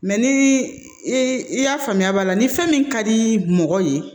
ni i y'a faamuya b'a la ni fɛn min ka di mɔgɔ ye